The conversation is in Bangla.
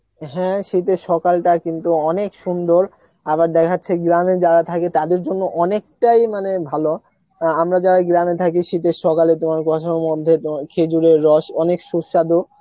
হ্যাঁ শীতের সকালটা কিন্তু অনেক সুন্দর, আবার দেখা যাচ্ছে গ্রাম এ যারা থেকে তাদের জন্য অনেকতাই মানে ভালো অ্যাঁ আমরা যারা গ্রাম এ থাকি শীত এর সকাল এ তোমার কুয়াসার মধ্যে, তোমার খেজুরের রস অনেক সুসাধু